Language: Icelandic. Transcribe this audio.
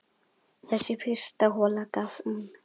Þessi fyrsta hola gaf um